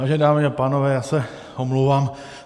Vážené dámy a pánové, já se omlouvám.